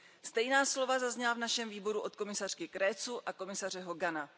Stejná slova zazněla v našem výboru od komisařky Creţuové a komisaře Hogana.